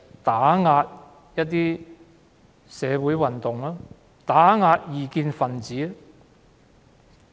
便是要打壓社會運動和異見分子。